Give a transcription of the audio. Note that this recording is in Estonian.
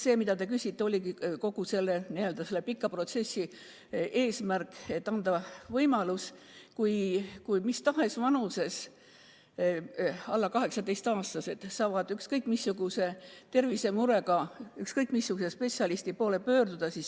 See täpselt ongi olnud kogu selle pika protsessi eesmärk, et anda mis tahes vanuses alla 18-aastastele võimalus ükskõik missuguse tervisemurega ükskõik missuguse spetsialisti poole pöörduda.